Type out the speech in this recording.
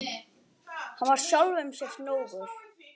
Hann var sjálfum sér nógur.